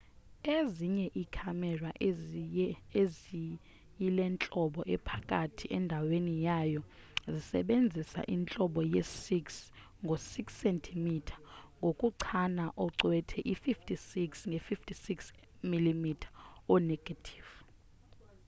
ezinye ii-camera ezine eziyilentlobo ephakathi endaweni yayo zisebenzisa intlobo ye-6 ngo 6 cm ngokuchana ucwethe i-56 nge 56 mm o-negative